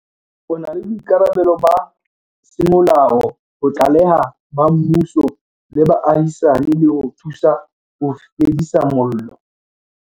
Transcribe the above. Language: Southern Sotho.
O na le boikarabelo ba semolao ho tlalehela ba mmuso le baahisani le ho thusa ho fedisa mollo.